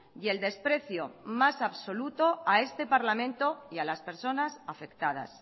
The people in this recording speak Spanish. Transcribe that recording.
y el desprecio más absoluto a este parlamento y a las personas afectadas